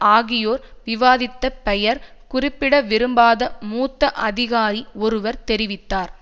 ஆகியோர் விவாதித்த பெயர் குறிப்பிட விரும்பாத மூத்த அதிகாரி ஒருவர் தெரிவித்தார்